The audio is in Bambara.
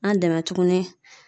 An dɛmɛ tuguni